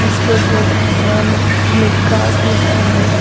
इसपर नव नि नीकास लिखा है।